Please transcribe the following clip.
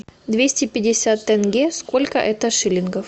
двести пятьдесят тенге сколько это шилингов